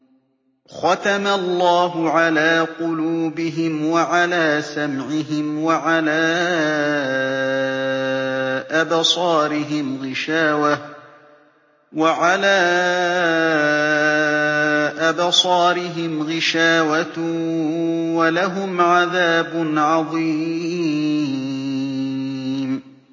خَتَمَ اللَّهُ عَلَىٰ قُلُوبِهِمْ وَعَلَىٰ سَمْعِهِمْ ۖ وَعَلَىٰ أَبْصَارِهِمْ غِشَاوَةٌ ۖ وَلَهُمْ عَذَابٌ عَظِيمٌ